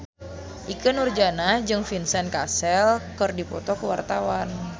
Ikke Nurjanah jeung Vincent Cassel keur dipoto ku wartawan